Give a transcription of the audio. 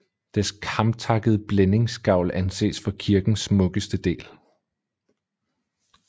Dets kamtakkede blændingsgavl anses for kirkens smukkeste del